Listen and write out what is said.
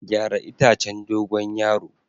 Gyara itacen dogon yaro.